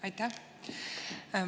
Aitäh!